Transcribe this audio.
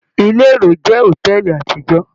Ile èrò jẹ́ hotẹẹli àtijọ.